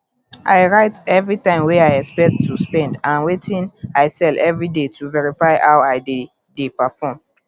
i write every time wey i expect to spend and wetin i sell every day to verify how i dey dey perform